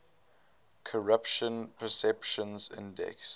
corruption perceptions index